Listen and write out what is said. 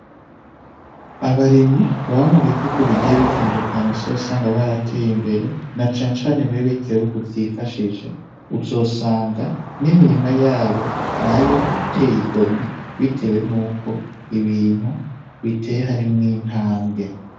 Abarimyi baba mu bihugu bigiye bitandukanye uzosanga barateye imbere na cane cane muri birya bihugu vyifashije uzosanga n'imirima yabo nayo iteye igomwe bitewe nuko ibintu bitewe harimwo intambwe.